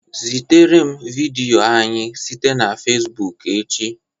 Zitere m vidiyo anyị site na facebook echi